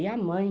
E a mãe?